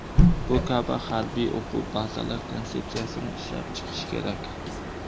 Bu kabi harbiy o‘quv bazalar konsepsiyasini ishlab chiqish kerak.